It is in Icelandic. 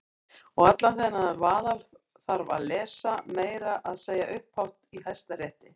Og allan þennan vaðal þarf að lesa- meira að segja upphátt í Hæstarétti!